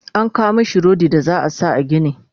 an kawo mashi rodi da za'a sa a gini